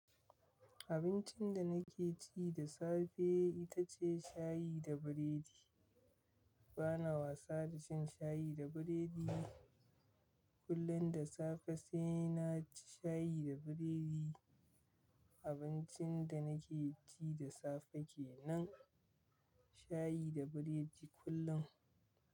Abincin da nake ci da safe ita ce shayi da biredi. Bana wasa da cin shayi da biredi. Kullum da safe sai na ci shayi da biredi. Abincin da nake ci da safe kenan shayi da biredi kullum.